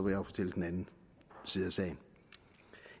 jo fortælle den anden side af sagen